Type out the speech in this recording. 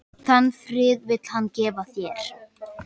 Þann frið vill hann gefa þér.